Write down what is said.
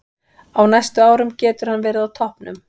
Á næstu árum getur hann verið á toppnum.